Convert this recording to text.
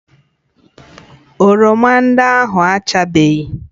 Oroma ndị ahụ achabeghị